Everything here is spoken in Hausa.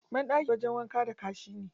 Banɗaki wajen wanka da kashi ne.